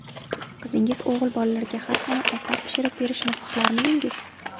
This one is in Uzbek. Qizingiz o‘g‘il bolalarga har kuni ovqat pishirib berishini xohlarmidingiz?